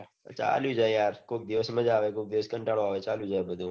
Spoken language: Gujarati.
ચાલ્યું જાય કોઈ દિવસ મજા આવે કોઈ દિવસ કંટાળો આવે ચાલ્યું જાય બઘુ